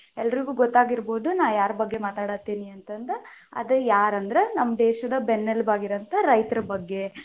ಎಲ್ಲರಿಗೂ ಗೊತ್ತಾಗಿರಬಹುದ ನಾ ಯಾರ ಬಗ್ಗೆ ಮಾತಾಡತೇನಿ ಅಂತಂದ, ಅದ ಯಾರಂದ್ರ ನಮ್ಮ ದೇಶದ ಬೆನ್ನೆಲುಬಾಗಿರುವಂತ ರೈತರ ಬಗ್ಗೆ.